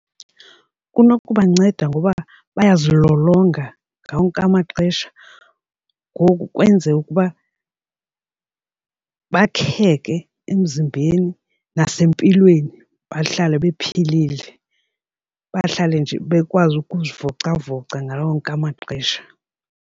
Kunokubanceda ngoba bayazilolonga ngawo wonke amaxesha ngoku kwenze ukuba bakheke emzimbeni nasempilweni bahlale bephilile bahlale nje bekwazi ukuzivocavoca ngawo wonke amaxesha.